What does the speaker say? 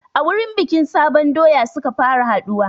A wurin bikin sabon doya suka fara haɗuwa